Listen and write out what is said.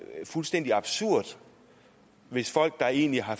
er fuldstændig absurd hvis folk der egentlig har